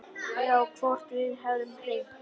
Já, hvort við hefðum hringt.